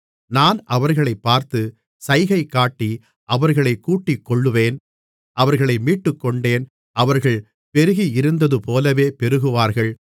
நான் அவர்களைப் பார்த்து சைகைகாட்டி அவர்களைக் கூட்டிக்கொள்ளுவேன் அவர்களை மீட்டுக்கொண்டேன் அவர்கள் பெருகியிருந்ததுபோலவே பெருகுவார்கள்